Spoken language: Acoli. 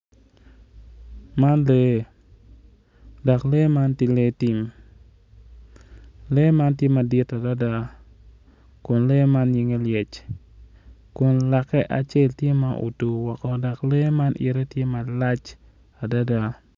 Man lee dok lee man tye lee tim lee man tye madit adada kun lee man nyinge lyec kun lake acel tye ma otur woko dok lee man yite tye malac adada.